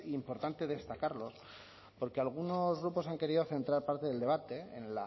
importante destacarlo porque algunos grupos han querido centrar parte del debate en